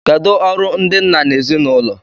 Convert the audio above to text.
Kedụ ọrụ ndị nna n'ezinụlọ?